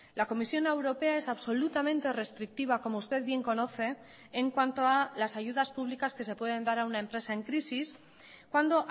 la comisión europea es absolutamente restrictiva como usted bien conoce en cuanto a las ayudas públicas que se pueden dar a una empresa en crisis cuando